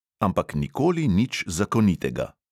Ampak nikoli nič zakonitega.